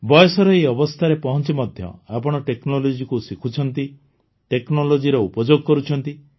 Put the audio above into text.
ବୟସର ଏହି ଅବସ୍ଥାରେ ପହଞ୍ଚି ମଧ୍ୟ ଆପଣ technologyକୁ ଶିଖୁଛନ୍ତି technologyର ଉପଯୋଗ କରୁଛନ୍ତି